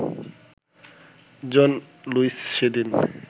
জন Lewis সেদিন